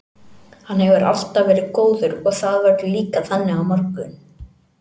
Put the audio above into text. Hann hefur alltaf verið góður og það verður líka þannig á morgun.